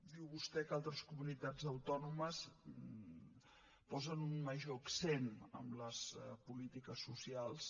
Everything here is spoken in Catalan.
diu vostè que altres comunitats autònomes posen un major accent a les polítiques socials